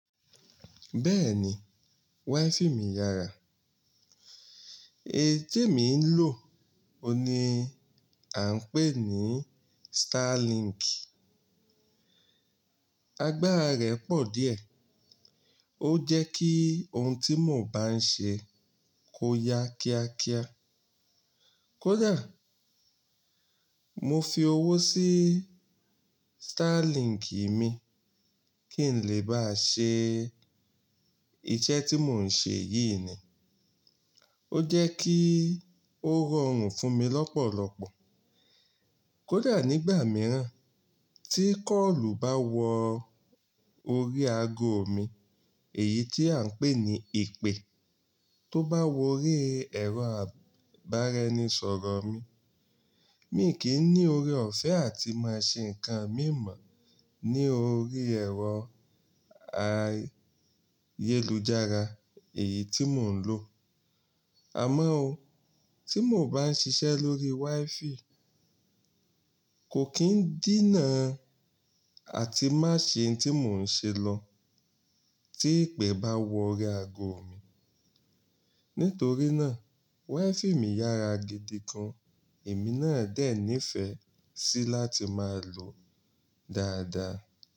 Bẹ́ẹ̀ni, WiFi mi yára. Èyí tèmi ń lò oun ni à ń pè ní Starlink. Agbára rẹ̀ pọ̀ díẹ̀, ó jẹ́ kí ohun tí mò ń bá ń ṣe kó ya kíákíá. Kódà mo fi owó sí Starlink mi kí n lè bá ṣe iṣẹ́ tí mò ń ṣe yìí ni, ó jẹ́ kí ó rọrùn fún mi lọ́pọ̀lọpọ̀. Kódà nígbà mìíràn tí kọ́ọ̀lù bá wo orí ago mi, èyí tí à ń pè ní ìpè, tó bá wo orí ẹ̀rọ àbára enisọ̀rọ̀ mi, mi kì n ni ore ọ̀fẹ́ àti máa ṣe nǹkan mímọ̀ ní orí ẹ̀rọ ayélujára èyí tí mò ń lò. Àmọn o, tí mò bá ń ṣiṣẹ́ lórí WiFi, kò kín díná àti má ṣe n tí mò ń ṣe lọ tí ìpè bá wo orí ago mi. Nítorí náà WiFi mi yára gidi gan, èmi náà dè ní ìfẹ́ síi láti máa lòó dáadáa.